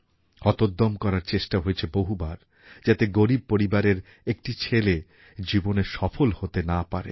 হতোদ্যম করার চেষ্টা হয়েছে বহুবার যাতে গরিব পরিবারের একটি ছেলে জীবনে সফলনা হতে পারে